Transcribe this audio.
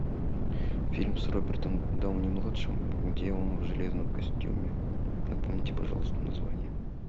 фильм с робертом дауни младшим где он в железном костюме напомните пожалуйста название